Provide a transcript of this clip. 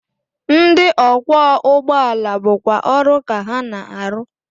Ndị ọkwọụgbọala bụkwa ọrụ ka ha na-arụ